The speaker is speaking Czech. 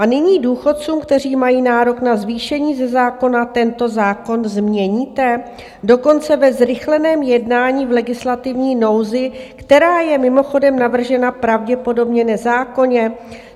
A nyní důchodcům, kteří mají nárok na zvýšení ze zákona, tento zákon změníte dokonce ve zrychleném jednání v legislativní nouzi, která je mimochodem navržena pravděpodobně nezákonně.